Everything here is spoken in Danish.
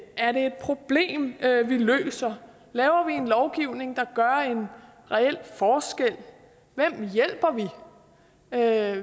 er det et problem vi løser laver vi en lovgivning der gør en reel forskel hvem hjælper vi hvad